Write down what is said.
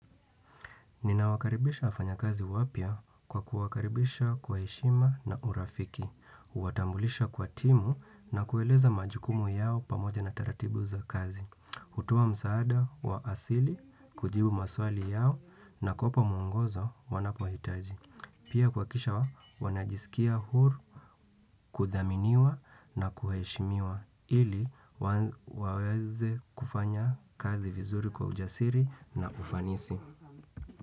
Ninawakaribisha wafanya kazi wapya kwa kuwakaribisha kwa heshima na urafiki. Watambulisha kwa timu na kueleza majukumu yao pamoja na taratibu za kazi. Hutoa msaada wa asili, kujibu maswali yao na kuwapa mungozo wanapohitaji. Pia kuhakikisha wanajisikia huru kuthaminiwa na kuheshimiwa ili waweze kufanya kazi vizuri kwa ujasiri na ufanisi.